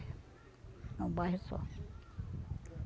É um bairro só.